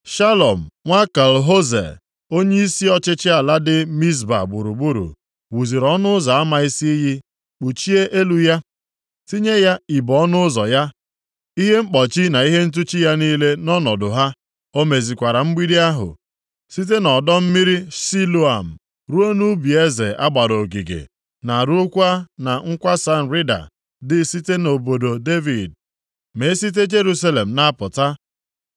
Shalum nwa Kol-Hoze, onyeisi ọchịchị ala dị Mizpa gburugburu, wuziri ọnụ ụzọ ama isi iyi, kpuchie elu ya, tinye ya ibo ọnụ ụzọ ya, ihe mkpọchi na ihe ntụchi ya niile nʼọnọdụ ha. O mezikwara mgbidi ahụ site nʼọdọ mmiri Siloam ruo nʼubi eze a gbara ogige, na ruokwa na nkwasa nrịda dị site nʼobodo Devid ma e site Jerusalem na-apụta.